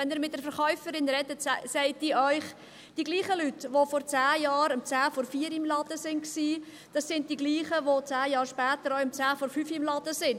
Wenn Sie mit der Verkäuferin sprechen, sagt sie Ihnen: Dieselben Leute, welche vor zehn Jahren um 15.50 Uhr im Laden waren, sind dieselben, welche zehn Jahre später um 16.50 Uhr im Laden sind.